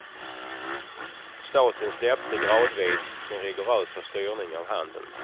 Staten släppte gradvis sin rigorösa styrning av handeln.